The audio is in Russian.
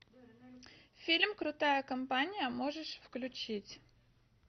фильм крутая компания можешь включить